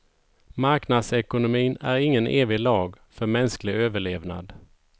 Marknadsekonomin är ingen evig lag för mänsklig överlevnad.